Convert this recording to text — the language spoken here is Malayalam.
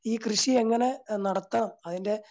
ഈ കൃഷിയെങ്ങനെ നടത്താം അതിൻറെ